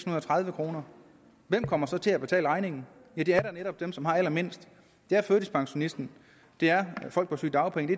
og tredive kroner hvem kommer så til at betale regningen det er da netop dem som har allermindst det er førtidspensionisten det er folk på sygedagpenge